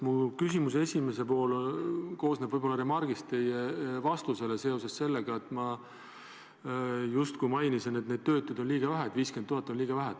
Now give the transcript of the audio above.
Minu küsimuse esimene pool on võib-olla remark teie vastusele seoses sellega, et ma justkui mainisin, et töötuid on liiga vähe, et 50 000 on liiga vähe.